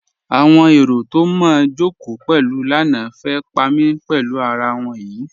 Awọn èrò tó mó jọ́kò pẹ̀lú lánà fẹ́ pa mí pẹ̀lú àrà wọn yí.